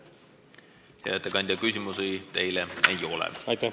Hea ettekandja, küsimusi teile ei ole.